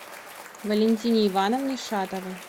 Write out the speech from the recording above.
валентине ивановне шатовой